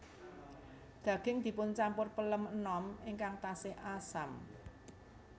Daging dipuncampur pelem enom ingkang tasih asam